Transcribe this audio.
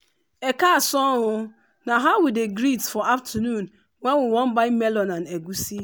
ekaasan o” na how we dey greet for afternoon when we wan buy melon and egusi.